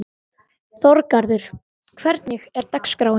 Þorgarður, hvernig er dagskráin?